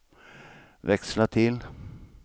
växla till